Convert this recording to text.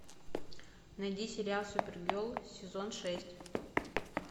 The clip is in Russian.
найди сериал супергерл сезон шесть